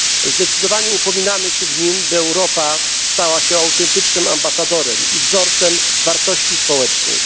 Zdecydowanie upominamy się w nim, by Europa stała się autentycznym ambasadorem i wzorcem wartości społecznych.